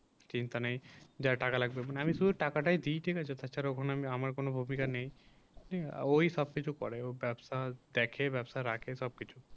চিন্তা নেই যা টাকা লাগবে মানে আমি শুধু টাকাটাই দিই ঠিক আছে তাছাড়া ওখানে আমার কোন অধিকার নেই আর ওই সব কিছু করে ওই গাছ ফাজ দেখে বা রাখে সবকিছু